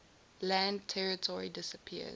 land territory disappears